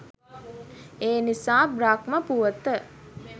එනිසා බ්‍රහ්ම පුවත